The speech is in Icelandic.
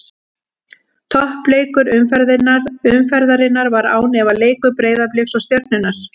Toppleikur umferðarinnar var án efa leikur Breiðabliks og Stjörnunnar.